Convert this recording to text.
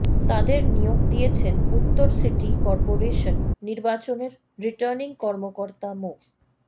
তাঁদের নিয়োগ দিয়েছেন উত্তর সিটি করপোরেশন নির্বাচনের রিটার্নিং কর্মকর্তা মো